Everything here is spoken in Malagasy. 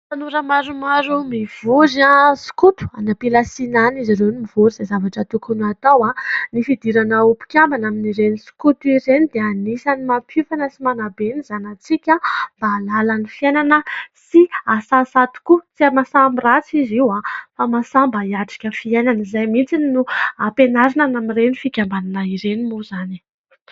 Tanora maromaro mivory, skoto. Any am-pilasiana any izy ireo no mivory izay zavatra tokony hatao. Ny fidirana ho mpikambana amin'ireny skoto ireny dia anisan'ny mampiofana sy manabe ny zanantsika mba hahalala ny fiainana sy hahasahisahy tokoa. Tsy mahasahy amin'ny ratsy izy io fa mahasahy mba hiatrika fiainana. Izay mihitsy no ampianarina amin'ireny fikambanana ireny moa izany e!